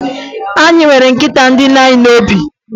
Anyị nwere nkịta dị anyị n'obi